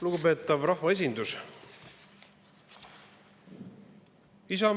Lugupeetav rahvaesindus!